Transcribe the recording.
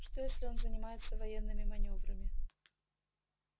что если он занимается военными манёврами